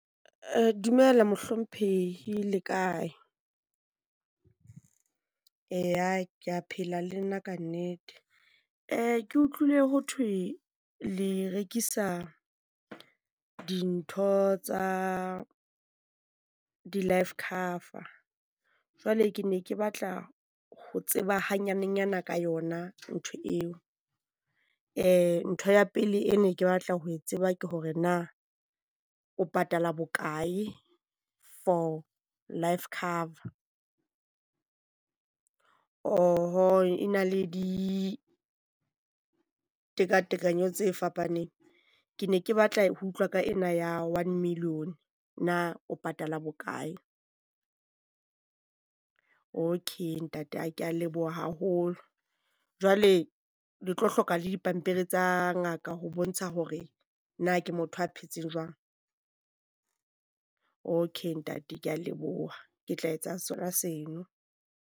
dumela mohlomphehi. Le kae? Eya, kea phela le nna kannete. Ke utlwile ho thwe le rekisa dintho tsa di-life cover. Jwale, ke ne ke batla ho tseba ha nyanenyana ka yona ntho eo. ntho ya pele e ne ke batla ho e tseba ke hore na o patala bokae for life cover? Oh-ho, e na le ditekatekanyo tse fapaneng. Ke ne ke batla ho utlwa ka ena ya one million, na o patala bokae? Okay ntate kea leboha haholo, jwale le tlo hloka le dipampiri tsa ngaka ho bontsha hore na ke motho ya phetseng jwang? Okay ntate ke a leboha. Ke tla etsa sona seno.